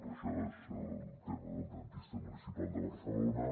però això és el tema del dentista municipal de barcelona